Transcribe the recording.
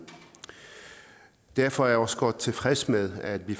derfor er jeg også godt tilfreds med at vi